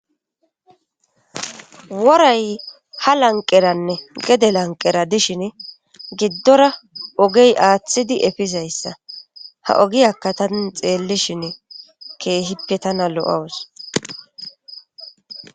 woray ha lanqeranne gede lanqera dishin giddora ogey aaththidi efizayssa ha ogiyakka tani xeelli shin keehippe tana lo7awus